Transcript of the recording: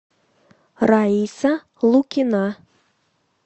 раиса лукина